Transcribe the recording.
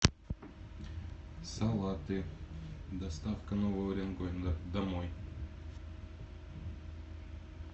салаты доставка новый уренгой домой